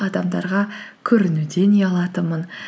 адамдарға көрінуден ұялатынмын